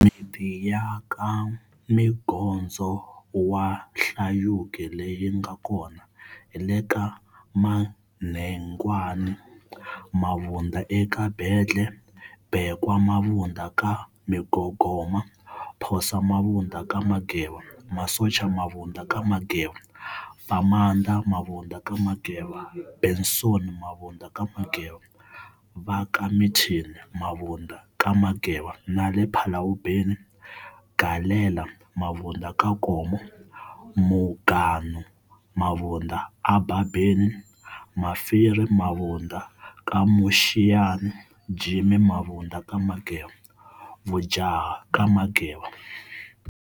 Miti yaka mgondzo wa hlayuki leyinga kona, hile ka manhegwane mabunda eka mbhendle, bekwa mabunda ka mghoghoma, phosa mabunda ka mageba, masocha mabunda ka mageba, famanda mabunda ka mageba, benson mabunda ka mageba, vaka mthini mabunda ka mageba nale phalawubeni, galela mabunda ka nkomo, muganu mabunda a babheni, mafiri mabunda ka mushiyani, Jim mabunda ka mageba, Vujaha Ka Mageva.